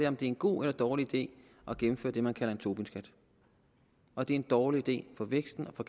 om det er en god eller dårlig idé at gennemføre det man kalder en tobinskat og det er en dårlig idé for væksten og for